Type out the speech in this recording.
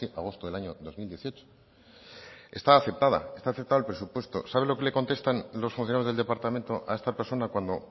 agosto del año dos mil dieciocho está aceptada está aceptada en el presupuesto sabe lo que le contestan los funcionarios del departamento a esta persona cuando